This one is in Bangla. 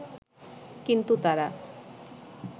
কিন্তু তারা